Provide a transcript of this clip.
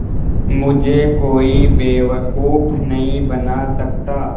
मुझे कोई बेवकूफ़ नहीं बना सकता